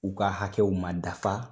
U ka hakɛw ma dafa